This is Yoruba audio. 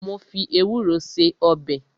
Mo fi ewúro ṣe ọbẹ̀